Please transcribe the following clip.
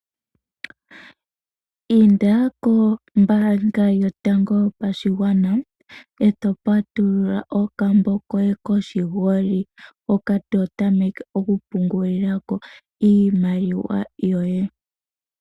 Patulula okambo koye koshingoli nOmbaanga yotango yopashigwana. Ee to kala to pungula iimaliwa yoye.